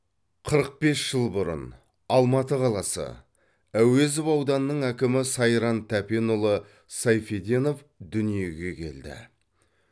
қырық бес жыл бұрын алматы қаласы әуезов ауданының әкімі сайран тәпенұлы сайфеденов дүниеге келді